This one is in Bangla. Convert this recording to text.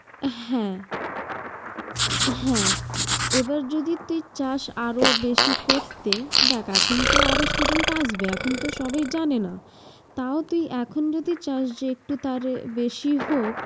হ্যাঁ হ্যাঁ, এবার যদি তুই চাস আরও বেশি করতে। দেখ এখন তো আরও student আসবে, এখন তো সবাই জানে না। তাও তুই এখন যদি চাস যে একটু তারে বেশি হোক